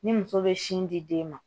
Ni muso bɛ sin di den ma